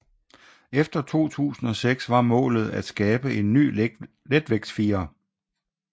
Efter 2006 var målet at skabe en ny letvægtsfirer